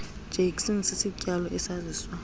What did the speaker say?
jackson sisityalo esaziswa